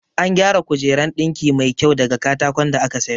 An gyara kujeran ɗinki mai kyau daga katakon da aka sayo